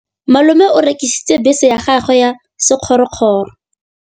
Malome o rekisitse bese ya gagwe ya sekgorokgoro.